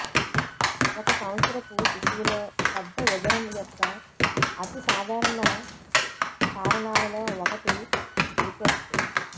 ఒక సంవత్సరపు శిశువులో పెద్ద ఉదరం యొక్క అతి సాధారణ కారణాలలో ఒకటి రికెట్స్